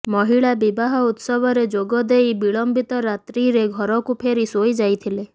ମହିଳା ବିବାହ ଉତ୍ସବରେ ଯୋଗଦେଇ ବିଳମ୍ବିତ ରାତ୍ରିରେ ଘରକୁ ଫେରି ଶୋଇଯାଇଥିଲେ